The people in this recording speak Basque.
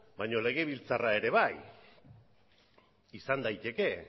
baina legebiltzarra ere bai izan daiteke